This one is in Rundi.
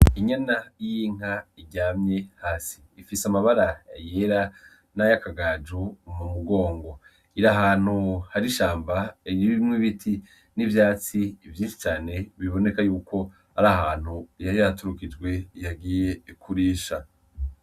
Inyana y'inka iryamye hasi ifise amabara yera n'ayo akagaju mu mugongo ira hantu hari ishamba eryiri bimwe biti n'ivyatsi ivyoii cane biboneka yuko ari ahantu yaryaturukijwe ihagiye ikurisha.